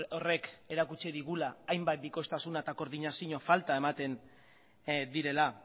horrek erakutsi digula hainbat bikoiztasuna eta koordinazio falta ematen direla